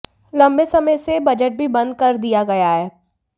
लंबे समय से यह बजट भी बंद कर दिया गया है